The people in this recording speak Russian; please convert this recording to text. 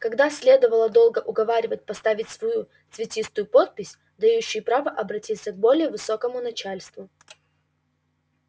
каждого следовало долго уговаривать поставить свою цветистую подпись дающую право обратиться к более высокому начальству